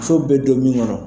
Sow bɛ don min kɔnɔ